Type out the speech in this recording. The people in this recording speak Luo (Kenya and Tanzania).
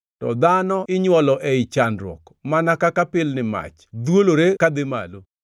To dhano inywolo ei chandruok, mana kaka pilni mach dhwolore kadhi malo.